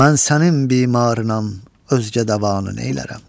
Mən sənin bimarınam, özgə dəvanı neylərəm?